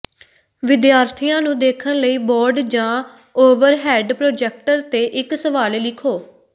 ਵਿਦਿਆਰਥੀਆਂ ਨੂੰ ਦੇਖਣ ਲਈ ਬੋਰਡ ਜਾਂ ਓਵਰਹੈਡ ਪ੍ਰੋਜੈਕਟਰ ਤੇ ਇੱਕ ਸਵਾਲ ਲਿਖੋ